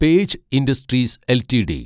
page Industries LTD